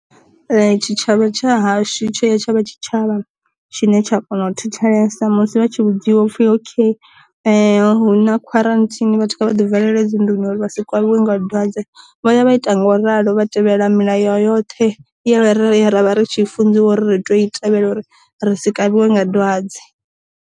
Tshitshavha tsha hashu tsho ya tshavha tshitshavha tshine tsha kona u thetshelesa musi vha tshi vhudziwa upfi ok hu na khwaranthini vhathu kha vha ḓi valele dzi nḓuni uri vha sa kavhiwe nga dwadze, vho ya vha ita ngo ralo vha tevhela milayo yoṱhe ya ra ya ra vha ri tshi funziwa ri to i tevhela uri ri sa kavhiwe nga dwadze.